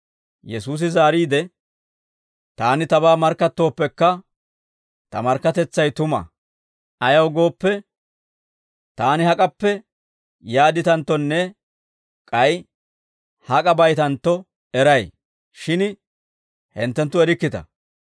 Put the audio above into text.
Yesuusi zaariide, «Taani Tabaa markkattooppekka, Ta markkatetsay tuma; ayaw gooppe, Taani hak'appe yaadditanttonne k'ay hak'a baytantto eray; shin hinttenttu erikkita.